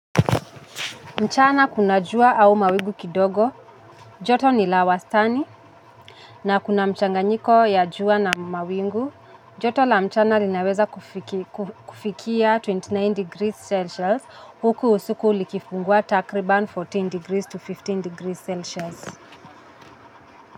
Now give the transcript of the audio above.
Mchana kuna jua au mawingu kidogo, joto ni la wastani, na kuna mchanganyiko ya jua na mawingu, joto la mchana linaweza kufikia ishirini na tisa degrees Celsius, huku usiku likifungua takriban kumi na nne degrees to kumi na tano degrees Celsius.